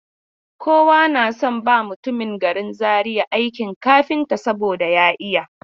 Kowa na son ba mutumin garin Zaria aikin kafinta saboda ya iya.